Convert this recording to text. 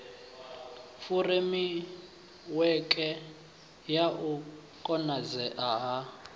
furemiweke ya u konadzea ha